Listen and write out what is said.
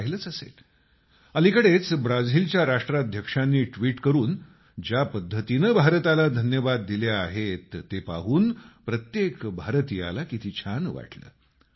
आपण पाहिलंच असेल अलिकडेच ब्राझिलच्या राष्ट्राध्यक्षांनी ट्विट करून ज्या पद्धतीनं भारताला धन्यवाद दिले आहेत ते पाहून प्रत्येक भारतीयाला किती छान वाटलं